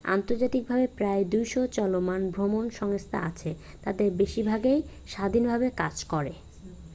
আন্তর্জাতিকভাবে প্রায় 200 চলমান ভ্রমন সংস্থা আছে তাদের বেশির ভাগই স্বাধীনভাবে কাজ করে